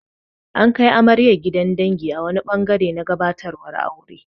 An kai amaryar gidan dangi a wani ɓangare na gabatarwar aure.